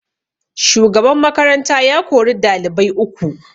Shugaban makaranta ya kori dalibai uku